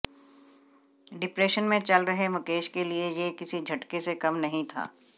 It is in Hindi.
डिप्रेशन में चल रहे मुकेश के लिए ये किसी झटके से कम नहीं था